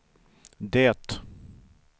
det